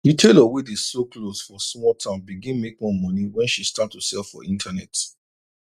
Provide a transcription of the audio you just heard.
the tailor wey dey sew cloth for small town begin make more money when she start to sell for internet